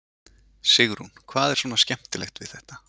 Sigrún: Hvað er svona skemmtilegt við þetta?